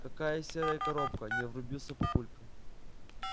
какая серая коробка не врубился папулька